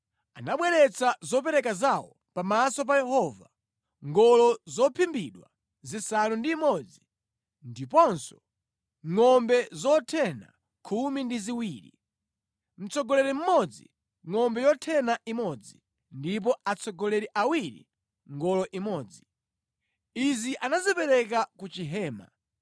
Anabweretsa zopereka zawo pamaso pa Yehova: ngolo zophimbidwa zisanu ndi imodzi ndiponso ngʼombe zothena khumi ndi ziwiri. Mtsogoleri mmodzi ngʼombe yothena imodzi ndipo atsogoleri awiri ngolo imodzi. Izi anazipereka ku chihema.